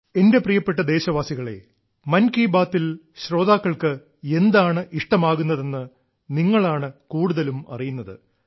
എന്റെ പ്രിയപ്പെട്ട ദേശവാസികളേ മൻ കി ബാത്തിൽ ശ്രോതാക്കൾക്ക് എന്താണ് ഇഷ്ടമാകുന്നതെന്ന് നിങ്ങളാണ് കൂടുതലും അറിയുന്നത്